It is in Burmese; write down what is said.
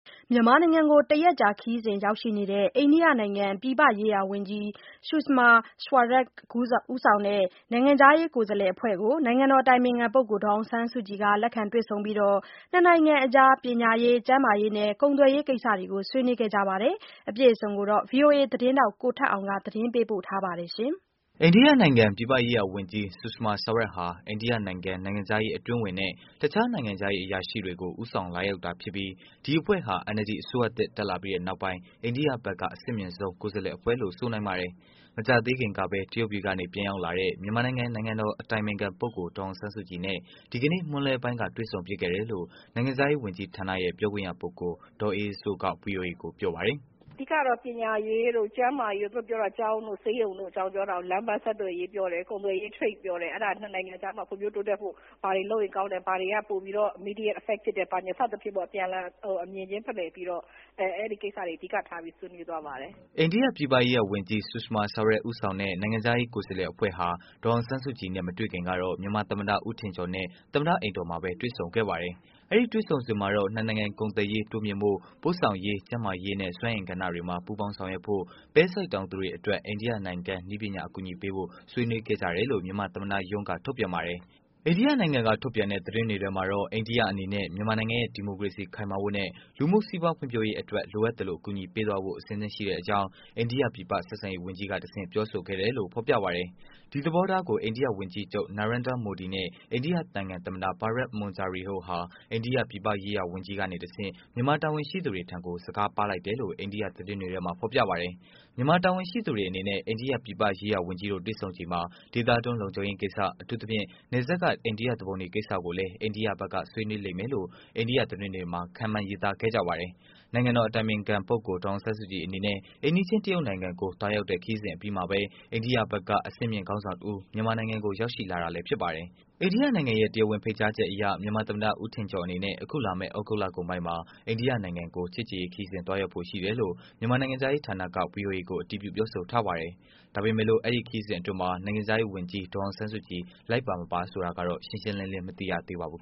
မြန်မာနိုင်ငံကို ၁ ရက်ကြာ ခရီးစဉ် ရောက်ရှိနေတဲ့ အိန္ဒိယနိုင်ငံ ပြည်ပရေးရာဝန်ကြီး Sushma Swaraj ဦးဆောင်တဲ့ နိုင်ငံခြားရေးကိုယ်စားလှယ်အဖွဲ့ကို နိုင်ငံတော်အတိုင်ပင်ခံ ပုဂ္ဂိုလ် ဒေါ်အောင်ဆန်းစုကြည်က လက်ခံတွေ့ဆုံပြီး နှစ်နိုင်ငံအကြား ပညာရေး ကျန်းမာရေးနဲ့ ကုန်သွယ်ရေးကိစ္စတွေကို ဆွေးနွေးခဲ့ပါတယ်။ ဗွီအိုအေ သတင်းထောက်ကိုထက်အောင် သတင်းပေးပို့ထားတာပါ။ အိန္ဒိယနိုင်ငံ ပြည်ပရေးရာဝန်ကြီး Sushma Swaraj ဟာ အိန္ဒိယနိုင်ငံ နိုင်ငံခြားရေးအတွင်းဝန်နဲ့ အခြားနိုင်ငံခြားရေးအရာရှိတွေကို ဦးဆောင်လာရောက်တာဖြစ်ပြီး၊ ဒီအဖွဲ့ဟာ NLD အစိုးရသစ် တက်ပြီးနောက်ပိုင်း အိန္ဒိယဘက်က အဆင့်မြင့်ဆုံးကိုယ်စားလှယ်အဖွဲ့လို့ ဆိုနိုင်ပါတယ်။ မကြာသေးခင်ပဲ တရုတ်ပြည်ကမှ ပြန်ရောက်လာတဲ့ မြန်မာနိုင်ငံ နိုင်ငံတော်အတိုင်ပင်ခံပုဂ္ဂိုလ် ဒေါ်အောင်ဆန်းစုကြည်နဲ့ ဒီကနေ့ မွန်းလွဲပိုင်းက တွေ့ဆုံဖြစ်ခဲ့တယ်လို့ နိုင်ငံခြားရေးဝန်ကြီးဌာန ပြောခွင့်ရသူ ဒေါ်အေးအေးစိုးက ဗွီအိုအေကို ပြောပါတယ်။ “အဓိကတော့ ပညာရေးတု့ိ ကျန်းမာရေးတို့၊ ကျောင်းတို့ဆေးရုံတို့အကြောင်းပြောတယ်။ လမ်းပန်းဆက်သွယ်ရေးပြောတယ် ကုန်သွယ်ရေအကြောင်းပြောတယ် Trade ပြောတယ် အဲဒါ ၂ နိုင်ငံကြားမှာ ဖွံ့ဖြိုးတိုးတက်ဖို့ ဘာတွေလုပ်ရင်ကောင်းတယ်၊ ဘာတွေကပိုပြီးတော့ Immediate effective ဖြစ်တယ်။ စသဖြင့် အပြန်အလှန်အမြင်ချင်းဖလှယ်ပြီးတော့ အဲဒီကိစ္စတွေအဓိကထားဆွေးနွေးသွားပါတယ်။” အိန္ဒိယ ပြည်ပရေးရာဝန်ကြီး Sushma Swaraj ဦးဆောင်တဲ့ နိုင်ငံခြားရေး ကိုယ်စားလှယ် အဖွဲ့ဟာ ဒေါ်အောင်ဆန်းစုကြည်နဲ့မတွေ့ခင်ကတော့ မြန်မာသမ္မတ ဦးထင်ကျော်နဲ့ သမ္မတအိမ်တော်မှာပဲ တွေ့ဆုံခဲ့ပါတယ်။ အဲဒီ တွေ့ဆုံစဉ် မှာတော့ နှစ်နိုင်ငံ ကုန်သွယ်ရေးတိုးမြင့်ဖို့၊ ပို့ဆောင်ရေး ကျန်းမာရေးနဲ့ စွမ်းအင် ကဏ္ဍတွေမှာ ပူးပေါင်းဆောင်ရွက်ဖို့၊ ပဲစိုက်တောင်သူတွေအတွက် အိန္ဒိယနိုင်ငံက နည်းပညာအကူအညီပေးဖို့ ဆွေးနွေးခဲ့ကြတယ်လို့ မြန်မာသမ္မတရုံးက ထုတ်ပြန် ပါတယ်။ အိန္ဒိယနိုင်ငံက ထုတ်ပြန်တဲ့ သတင်းတွေမှာတော့ အိန္ဒိယ အနေနဲ့ မြန်မာနိုင်ငံရဲ့ ဒီမိုကရေစီခိုင်မာဖို့နဲ့ လူမှုစီးပွားဖွံဖြိုးရေးအတွက် လိုအပ်သလို အကူအညီပေးမယ်ဖို့ အဆင်သင့်ရှိတဲ့အကြောင်း အိန္ဒိယ ပြည်ပဆက်ဆံရေးဝန်ကြီးက ပြောဆိုခဲ့တယ် လို့ ဖော်ပြပါတယ်။ ဒီသဘောထားကို အိန္ဒိယဝန်ကြီးချုပ် Narendra Modi နဲ့ အိန္ဒိယသမ္မတ Pranab Mukherjee တို့က အိန္ဒိယ ပြည်ပရေးရာဝန်ကြီးက တဆင့် မြန်မာတာဝန်ရှိသူတွေထံ စကားပါးလိုက်တာလို့ အိန္ဒိယသတင်းတွေ မှာ ဖော်ပြပါတယ်။ မြန်မာတာဝန်ရှိသူတွေနဲ့ အိန္ဒိယပြည်ပရေးရာဝန်ကြီးတို့ တွေ့ဆုံချိန်မှာ ဒေသတွင်း လုံခြုံရေးကိစ္စ ၊ အထူးသဖြင့် နယ်စပ်က အိန္ဒိယသူပုန်တွေကိစ္စကိုလည်း အိန္ဒိယ ဘက်က ဆွေးနွေးလိမ့်မယ်လို့ အိန္ဒိယသတင်းတွေက ခန့်မှန်းရေးသားခဲ့ပါတယ်။ နိုင်ငံတော် အတိုင်ပင်ခံပုဂ္ဂိုလ် ဒေါ်အောင်ဆန်းစုကြည်အနေနဲ့ အိမ်နီးချင်း တရုတ်နိုင်ငံကို သွားရောက်တဲ့ခရီးစဉ်အပြီးမှာပဲ၊ အိန္ဒိယဘက်က အဆင့်မြင့်ေ ခါင်းဆောင်တဦး မြန်မာနိုင်ငံကို ရောက်ရှိလာတာဖြစ်ပါတယ်။ အိန္ဒိယနိုင်ငံရဲ့ တရားဝင်ဖိတ်ကြားချက်အရ မြန်မာသမ္မတဦးထင်ကျော်အနေနဲ့ အခုလာမယ့် သြဂုတ်လ ကုန်ပိုင်းမှာ အိန္ဒိယနိုင်ငံကို ချစ်ကြည်ရေးခရီး သွားရောက်ဖို့ ရှိတယ် လို့ မြန်မာနိုင်ငံခြားရေးဌာနက ဗွီအိုအေကို အတည်ပြု ပြောဆိုပါတယ်။ ဒါပေမယ့် အဲဒီခရီးစဉ်အတွင်း နိုင်ငံခြားရေးဝန်ကြီး ဒေါ်အောင်ဆန်းစုကြည် လိုက်ပါမပါ ဆိုတာတော့ ရှင်းရှင်းလင်းလင်းမသိရသေးပါဘူး